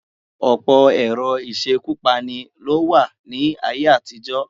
Ọ̀pọ̀ ẹ̀rọ ìṣekúpani ní ó wà ní ayé-àtijọ́.